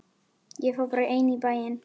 Ég fór bara ein í bæinn.